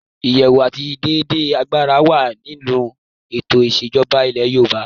“ìyẹ̀wò àti déédé agbára ” wà nínú ètò ìṣèjọba ilẹ̀ Yorùbá.